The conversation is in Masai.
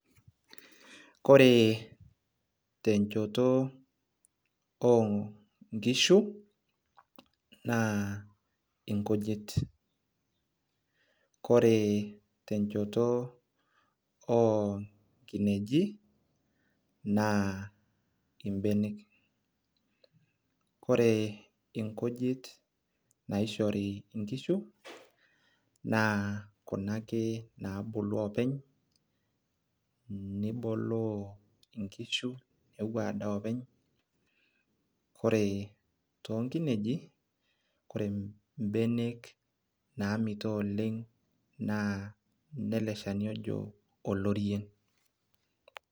kore tenchoto oo nkishu naa inkujit ore tenchoto oo nkineji naa mbenek. ore nkujit naishori nkishu naa kuna ake naaabulu oepeny. niboloo nikishu nepuo adaa openy. ore ineji naa inele shani oji olorien.